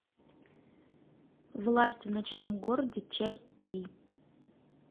власть в ночном городе часть три